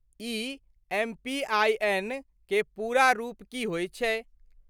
ई एम.पी.आइ.एन.क पूरा रूप की होइत छै?